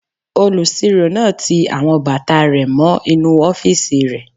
Olùsirò náà ti àwọn bàtà rẹ̀ mọ́ inú ọ́fìsì rẹ̀